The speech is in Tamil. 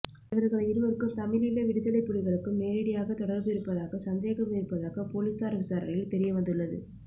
இவர்கள் இருவருக்கும் தமிழீழ விடுதலைப் புலிகளுக்கும் நேரடியாக தொடர்பு இருப்பதாக சந்தேகம் இருப்பதாக போலீசார் விசாரணையில் தெரியவந்துள்ளது